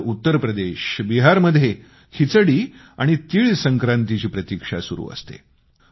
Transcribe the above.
तर उत्तर प्रदेशबिहारमध्ये खिचडी आणि तिळसंक्रांतीची प्रतीक्षा सुरू असते